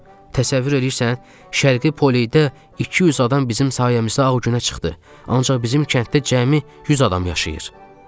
Təsəvvür eləyirsən, şərqi Polidə 200 adam bizim sayəmizdə ağ günə çıxdı, ancaq bizim kənddə cəmi 100 adam yaşayır.